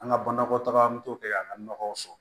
An ka banakɔ taga an bɛ t'o kɛ an ka nɔgɔw sɔrɔ